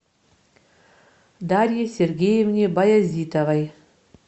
дарье сергеевне баязитовой